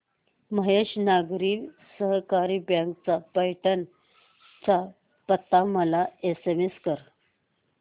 Mahesh Nagari Sahakari bank चा पैठण चा पत्ता मला एसएमएस कर